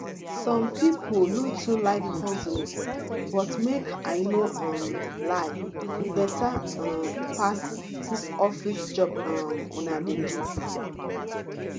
some people no too like hustling but make i no um lie e better um pass dis office job um una dey do